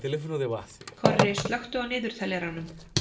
Korri, slökktu á niðurteljaranum.